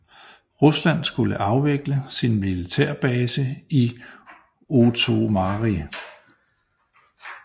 Rusland skulle afvikle sin militærbase i Ootomari